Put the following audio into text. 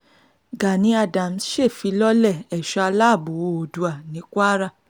gani adams ṣèfilọ́lẹ̀ ẹ̀ṣọ́ aláàbọ̀ oòdùà ní kwara